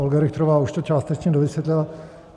Olga Richterová už to částečně dovysvětlila.